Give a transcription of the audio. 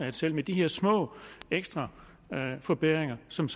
at selv med de her små ekstra forbedringer som